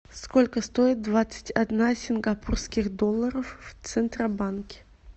сколько стоит двадцать одна сингапурских долларов в центробанке